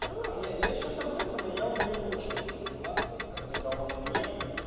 всё равно я сейчас обнюханный я вам даю очень много информации которой дал он мне